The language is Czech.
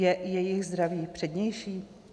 Je jejich zdraví přednější?